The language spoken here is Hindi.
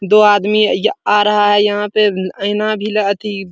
दो आदमी या आ रहा है यहाँ पे ऐना भी ल अथी --